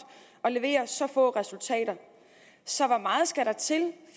at levere så få resultater så hvor meget skal der til